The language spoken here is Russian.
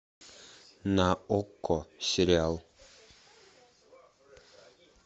на окко сериал